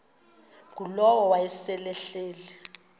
ngulowo wayesel ehleli